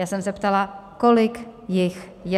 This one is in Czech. Já jsem se ptala, kolik jich je.